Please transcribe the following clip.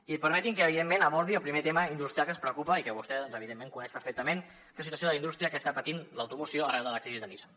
i permeti’m que evidentment abordi el primer tema industrial que ens preocupa i que vostè evidentment coneix perfectament que és la situació de la indústria que està patint l’automoció arran de la crisi de nissan